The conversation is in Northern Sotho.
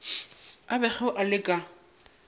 a bego a le ka